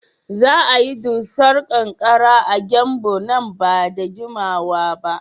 Za a yi dusar ƙanƙara a Gembu nan ba da jimawa ba.